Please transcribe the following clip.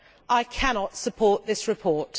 I cannot support this report.